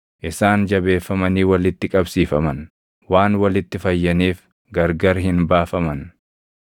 Isaan jabeeffamanii walitti qabsiifaman; waan walitti fayyaniif gargar hin baafaman.